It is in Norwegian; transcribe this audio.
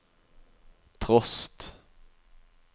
trost